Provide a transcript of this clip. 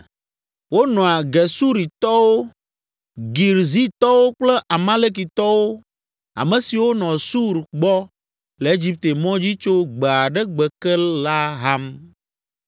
Wonɔa Gesuritɔwo, Girzitɔwo kple Amalekitɔwo, ame siwo nɔ Sur gbɔ le Egipte mɔ dzi tso gbe aɖe gbe ke la ham.